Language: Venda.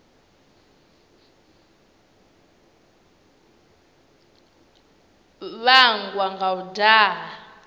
a vhangwa nga u daha